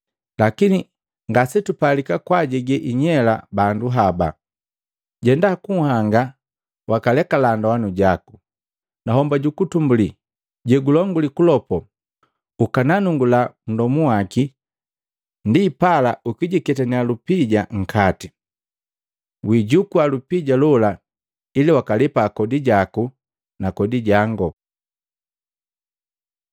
Lakini ngasetupalika kwaajege inyela bandu haba. Jenda kunhanga, wakalekala ndoana jaku, na homba ja kwanza jegulonguli kulopo, ukananungula nndomu waki ndipala ukijiketaniya lupija nkati. Wiijukua lupija lola ili wakaalepa kodi jaku na kodi jango.”